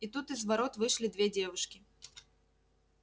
и тут из ворот вышли две девушки